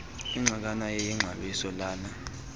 inxalenye yexabiso lala